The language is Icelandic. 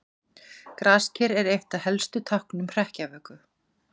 Grasker er eitt af helstu táknum hrekkjavöku.